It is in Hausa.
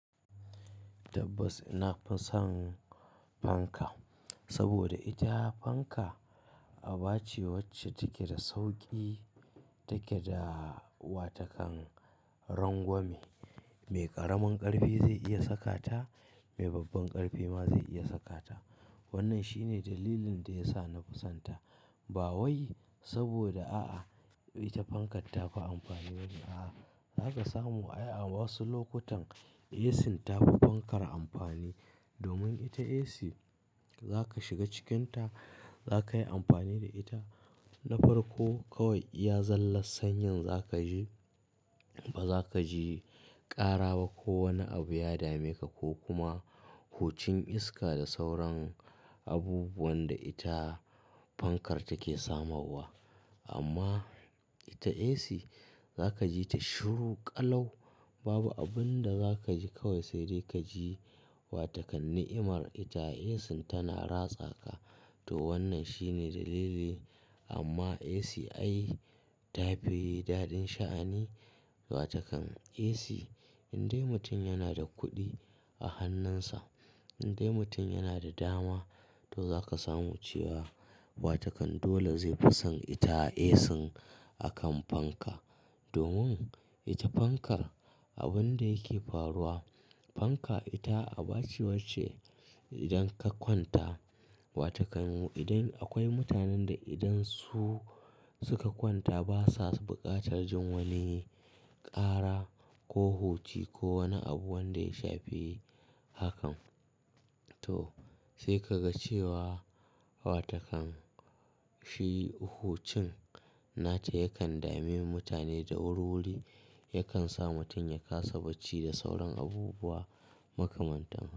Tabbas nafisan fanka saboda ita fanka abace wacce take da sauƙi, takeda watakan rangwame, mai ƙaramin ƙarfi zai iya sakata, mai babban ƙarfi ma zai iya sakata. Wannan shine dalilin dayasa nafi santa. Bawai saboda a'a ita fankar tafi amfani bane. A'a, zaka samu ai a wasu lokutan AC tafi fankar amfani. Domin ita AC, zaka shiga cikinta, zakayi amfani da ita na farko kawai iya zalla sanyin zakaji, ba zakaji ƙaraba ko wani abu ya dameka ko kuma hucin iska da sauran abubuwanda ita fankar take samowa. Amma ita AC zaka jita shiru ƙalau. Babu abunda zakaji kawai saidai kaji wa takan ni'imar ita AC tana ratsa ka. To wannan shine dalili amma AC ai tafi daɗin sha'ani watakan AC. Indai mutum yanada kuɗi a hannunsa, indai mutum yanada dama to zaka samu cewa watakan dole zaifi son ita AC akan fanka. Domin ita fankar, abunda yake faruwa, fanka ita abace wacce idanka kwanta watakan idan akwai mutanen da idan su suka kwanta basa buƙatar jin wani ƙara ko huci ko wani abu wanda ya shafe hakan. To sai kaga cewa watakan shi hucin nata yakan dame mutane da wurwuri, yakan sa mutum ya kasa bacci da sauran abubuwa makamanta.